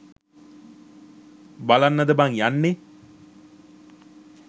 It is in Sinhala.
බලන්නද බං යන්නෙ?